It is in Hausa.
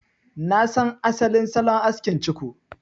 Na san asalin salon askin ciko.